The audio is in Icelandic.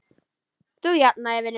Þú jafnar þig vinur.